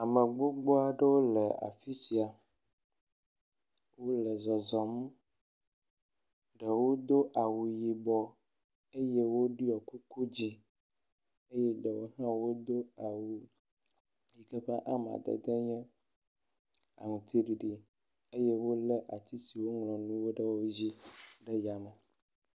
Ame gbogbo aɖewo le afi sia, wole zɔzɔm, ɖewo do awu yibɔ eye wodo kuku dze, ɖewo hã wodo awu yike hã be amadede nye aŋutiɖiɖi eye wolé ati siwo woŋlɔ nuwo ɖe wo dzi ɖe yame.